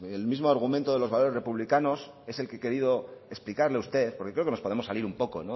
el mismo argumento de los valores republicanos es el que he querido explicarle a usted porque creo que nos podemos salir un poco